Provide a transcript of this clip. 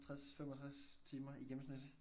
60 65 timer i gennemsnit